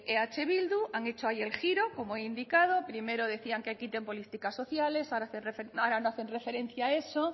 eh bildu han hecho ahí el giro como he indicado primero decían que quiten política sociales ahora no hacen referencia a eso